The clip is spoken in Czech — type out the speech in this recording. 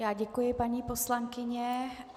Já děkuji, paní poslankyně.